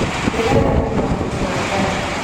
Ndĩrenda kũgũra mũtu wa ngano.